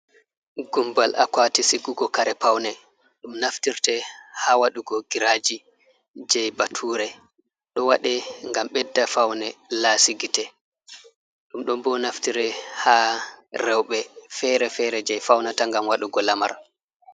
Gumbal akwati sikugo kare paune, ɗum naftirte ha waɗugo giraji je bature, ɗo waɗe gam ɓedda faune lasigite, ɗum ɗon bo naftire ha rewbe fere-fere je faunata ngam waɗugo lamar.